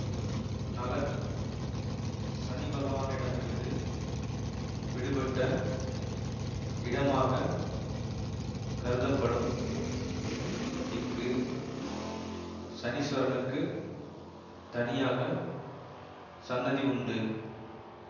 நளன் சனிபகவானிடமிருந்து விடுபட்ட இடமாக கருதப்படும் இங்கு சனீஸ்வரனுக்குத் தனியாக சன்னதி உண்டு